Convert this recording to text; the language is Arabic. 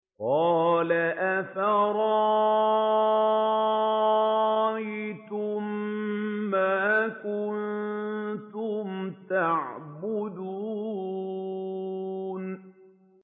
قَالَ أَفَرَأَيْتُم مَّا كُنتُمْ تَعْبُدُونَ